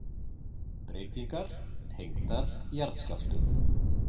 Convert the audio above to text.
Breytingar tengdar jarðskjálftum